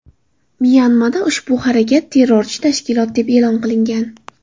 Myanmada ushbu harakat terrorchi tashkilot deb e’lon qilingan.